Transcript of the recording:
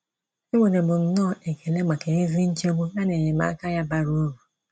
Enwere m nnọọ ekele maka ezi nchegbu ya na enyemaka ya bara uru!